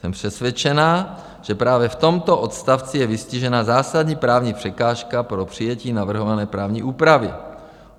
Jsem přesvědčená, že právě v tomto odstavci je vystižena zásadní právní překážka pro přijetí navrhované právní úpravy.